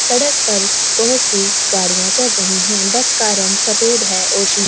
सड़क पर बहुत सी गाड़ियां चल रही है बस का रंग सफेद है और शी --